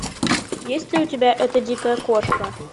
есть ли у тебя эта дикая кошка